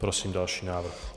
Prosím další návrh.